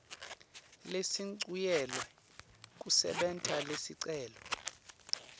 lesincunyelwe kusebenta lesicelo